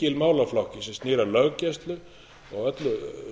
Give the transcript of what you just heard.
lykilmálaflokki sem snýr að löggæslu og öllu